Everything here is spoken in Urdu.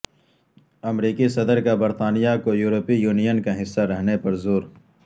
امریکی صدرکا برطانیہ کو یورپی یونین کا حصہ رہنے پر زور